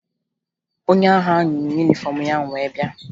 Onye agha ahụ yi yunifọmụ ya wee bịa